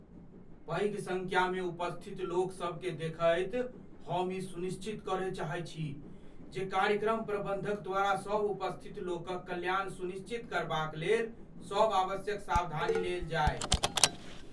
पैघ सङ्ख्यामे उपस्थित लोकसभकेँ देखैत हम ई सुनिश्चित करय चाहैत छी जे कार्यक्रम प्रबंधक द्वारा सभ उपस्थितलोकक कल्याण सुनिश्चित करबाक लेल सभ आवश्यक सावधानी लेल जाय।